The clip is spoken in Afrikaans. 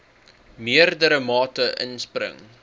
meerdere mate inspring